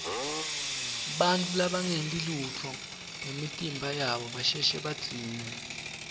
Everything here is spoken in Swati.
bantfu labangenti lutfo ngemitimba yabo basheshe badzinwe